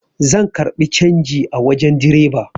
Zan karbi canji a wajen direba